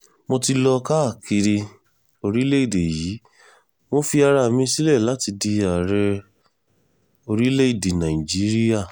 mo ti lọ káàkiri orílẹ̀‐èdè yìí mo fi ara mi sílẹ̀ láti di ààrẹ orílẹ̀‐èdè nàíjíríà